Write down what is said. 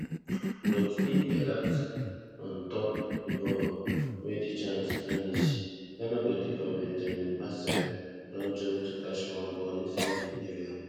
but im delat on top di ball wey di chance vanish ghana goalkeeper benjamin asare don jump to catch one ball inside im area